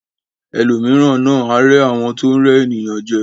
Ẹlòmíràn náà a rẹ àwọn tó n rẹ ènìyàn jẹ.